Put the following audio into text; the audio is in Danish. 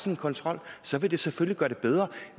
en kontrol så vil det selvfølgelig gøre det bedre